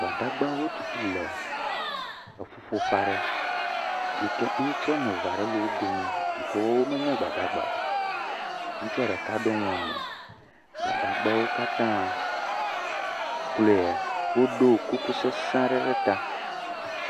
Gbadagbawo tu le eƒuƒoƒe aɖe yi ke ŋutsu wɔme eve aɖe le wo domi yi ke wɔ womenye gbadagba o. Ŋutsua ɖeka ɖo nu emo. Gbadagbawo katãẽ kloe woɖo kuku sese aɖe ɖe ta.